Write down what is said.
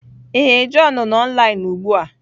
Ee, john nọ online ugbu a.